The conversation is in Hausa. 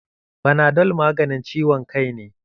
Fanadol maganin ciwon kai ne.